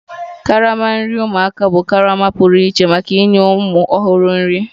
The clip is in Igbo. Karama nri ụmụaka bụ karama pụrụ iche maka inye ụmụ ọhụrụ nri